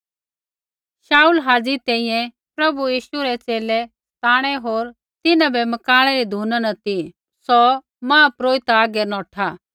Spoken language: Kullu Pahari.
शाऊल हाज़ी तैंईंयैं प्रभु यीशु रै च़ेले बै सताणै होर तिन्हां बै मकाणै री धुना न ती सौ महापुरोहित हागै नौठा